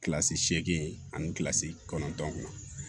Kilasi seegin ani kilasi kɔnɔntɔn